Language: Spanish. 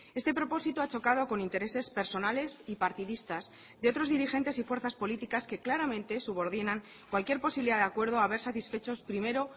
este propósito ha chocado con intereses personales y partidistas de otros dirigentes y fuerzas políticas que claramente subordinan cualquier posibilidad de acuerdo a ver satisfechos primero